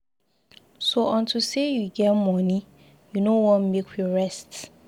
So unto say you get money you no wan make we rest.